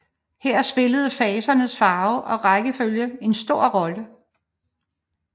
Her spillede fasernes farver og rækkefølge en stor rolle